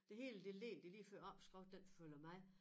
Det hele det ligger det lige før opskriften den følger med